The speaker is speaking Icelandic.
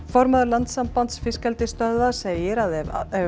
formaður Landssambands fiskeldissstöðva segir að ef